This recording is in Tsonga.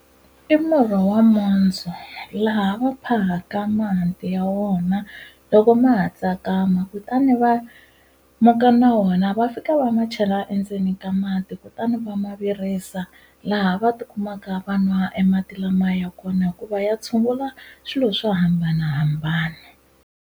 I murhi wa mondzo laha va phahaka mahanti ya wona loko ma ha tsakama kutani va muka na wona va fika va ma chela endzeni ka mati kutani va ma virisa laha va tikumaka vanwa e mati lamaya ya kona hikuva ya tshungula swilo swo hambanahambana.